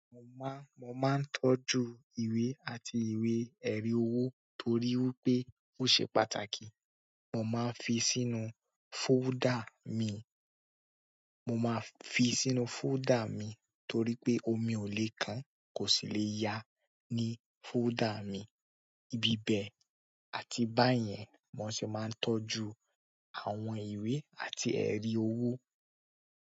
Mo má, mo máa ń tọ́jú ìwé àti ìwé-ẹ̀rí owó torí pé ó ṣe pàtàkì. Mo máa ń fi sínú fóldà mi, mo máa fi sínú fóldà mi torí pé omi ò lè kan, kò sì lè yá ní fóldà mi. Ibibẹ̀ àti báyẹ́n ni mo ṣe máa ń tọ́jú àwọn ìwé àti èri owo.